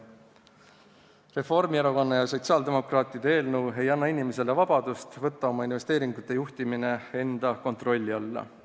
Reformierakonna ja sotsiaaldemokraatide eelnõus pakutud muudatused ei annaks inimesele vabadust võtta oma investeeringute juhtimine enda kontrolli alla.